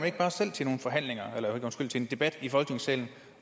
ikke bare selv til en debat i folketingssalen